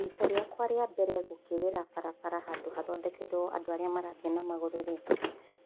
Rita rĩakwa rĩa mbere gũkĩrĩra barabara handũ hathondekeirwo andũ arĩa marathiĩ namagũrũ rĩ,